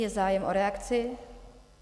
Je zájem o reakci?